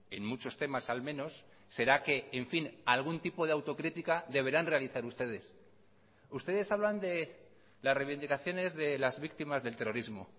en muchos temas al menos será que en fin algún tipo de autocrítica deberán realizar ustedes ustedes hablan de las reivindicaciones de las víctimas del terrorismo